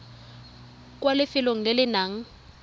kwa lefelong le le nang